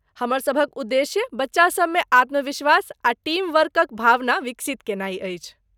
हमर सभक उद्देश्य बच्चा सभमे आत्मविश्वास आ टीम वर्कक भावना विकसित केनाई अछि।